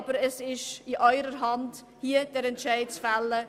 Aber es liegt in Ihrer Hand, hier den Entscheid zu fällen: